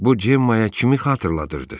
Bu Cemmaaya kimi xatırladırdı?